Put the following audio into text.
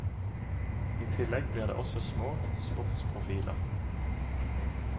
I tillegg blir det også små sportsprofiler.